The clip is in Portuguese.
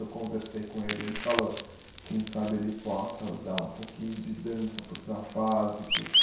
Eu conversei com ele e ele falou quem sabe ele possa dar um pouquinho de dança para os afásicos.